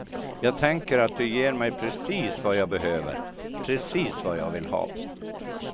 Jag tänker att du ger mig precis vad jag behöver, precis vad jag vill ha.